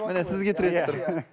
міне сізге тіреліп тұр